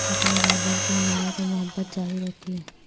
اپنے رہبر کی حمایت و محبت ظاہر ہوتی ہے